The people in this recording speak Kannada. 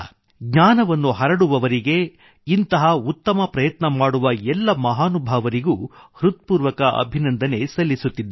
ಜ್ಞಾನವನ್ನು ಹರಡುವವರಿಗೆ ಇಂತಹ ಉತ್ತಮ ಪ್ರಯತ್ನ ಮಾಡುವವರಿಗೆ ಎಲ್ಲಾ ಮಹಾನುಭಾವರಿಗೂ ಹೃತ್ಪೂರ್ವಕ ಅಭಿನಂದನೆ ಸಲ್ಲಿಸುತ್ತಿದ್ದೇನೆ